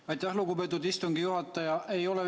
Aitäh, lugupeetud istungi juhataja!